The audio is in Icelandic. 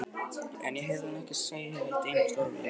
En ég heyrði hana ekki segja eitt einasta orð við Lenu.